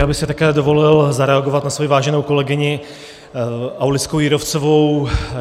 Já bych si také dovolil zareagovat na svoji váženou kolegyni Aulickou Jírovcovou.